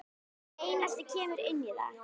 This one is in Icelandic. Einelti kemur inn í það.